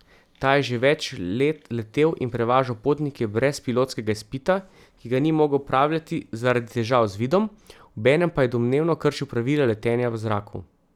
Ta je že več let letel in prevažal potnike brez pilotskega izpita, ki ga ni mogel opravljati zaradi težav z vidom, obenem pa je domnevno kršil pravila letenja v zraku.